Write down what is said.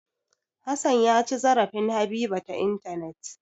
Hassan ya ci zarafin Habiba ta intanet.